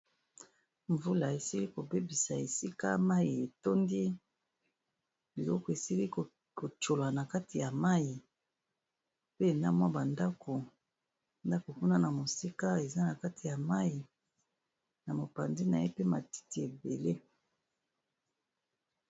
Mvula esili ko bebisa esika mayi etondi biloko esili ko tshola na kati ya mayi pe na mwa ba ndaku, ndaku kuna na mosika eza na kati ya mayi, na mopanzi na ye pe matiti ébélé .